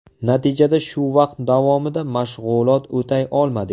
Natijada shu vaqt davomida mashg‘ulot o‘tay olmadik.